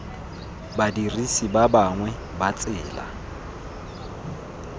badirisi ba bangwe ba tsela